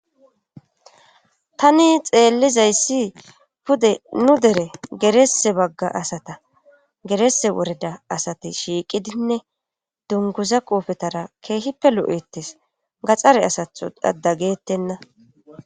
tani xeellizayssi pude nu dere gerese bagga asata gerese woreda asati shiiqidinne dunguza qoofetara keehippe lo7ettes gaxxare asatho dadageettenna